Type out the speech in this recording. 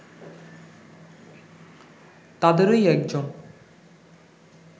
তাদেরই একজন